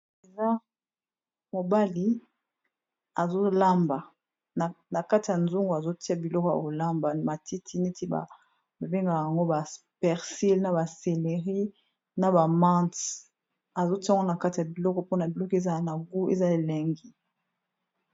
Eza mobali azo lamba. Na kati ya nzungu azo tia biloko ya kolamba matiti neti ba bengaka yango ba persile, na ba selerie, na ba mante, azo tia yango na kati ya biloko mpona biloko ezala na goût ezala elengi.